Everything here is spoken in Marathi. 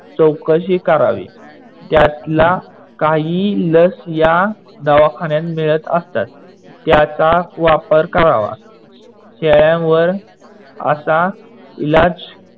चौकशी करावी. त्यातला काही लस या दवाखान्यात मिडत असतात. त्याचा वापर करावा. शेळ्यावर असा इलाज